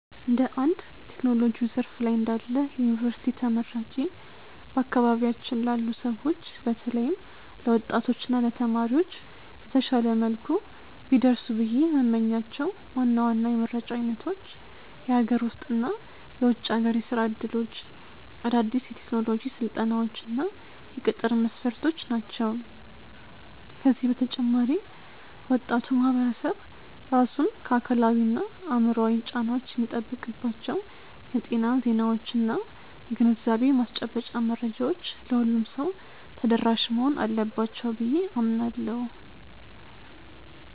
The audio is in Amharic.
እንደ አንድ በቴክኖሎጂው ዘርፍ ላይ እንዳለ የዩኒቨርሲቲ ተመራቂ፣ በአካባቢያችን ላሉ ሰዎች በተለይም ለወጣቶች እና ለተማሪዎች በተሻለ መልኩ ቢደርሱ ብዬ የምመኛቸው ዋና ዋና የመረጃ አይነቶች የሀገር ውስጥ እና የውጭ ሀገር የሥራ ዕድሎች፣ አዳዲስ የቴክኖሎጂ ስልጠናዎች እና የቅጥር መስፈርቶች ናቸው። ከዚህ በተጨማሪ ወጣቱ ማህበረሰብ ራሱን ከአካላዊና አእምሯዊ ጫናዎች የሚጠብቅባቸው የጤና ዜናዎችና የግንዛቤ ማስጨበጫ መረጃዎች ለሁሉም ሰው ተደራሽ መሆን አለባቸው ብዬ አምናለሁ።